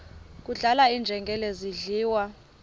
kudlala iinjengele zidliwa